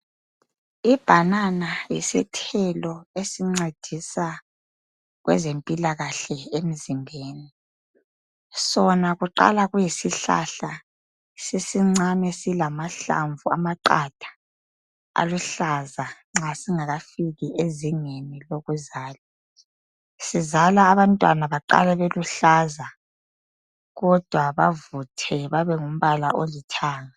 Ibhanana yisithelo esincedisa kwezempilakahle emzimbeni. Sona kuqala kuyisihlahla sisincane silamahlamvu amaqatha aluhlaza nxa singakafiki ezingeni lokuzala. Sizala abantwana baqala beluhlaza kodwa bavuthwe babe lombala olithanga.